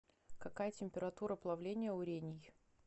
какая температура плавления у рений